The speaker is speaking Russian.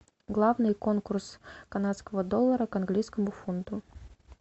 главный конкурс канадского доллара к английскому фунту